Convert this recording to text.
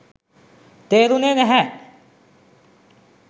තේරුනේ නැහැ